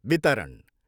वितरण।